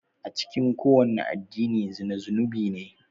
A cikin kowane addini zina zunubi ne.